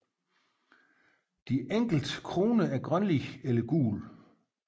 De enkelte kroner er grønlige eller gule